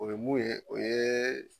O ye mun ye o ye